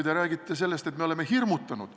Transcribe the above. Te räägite sellest, et me oleme inimesi hirmutanud.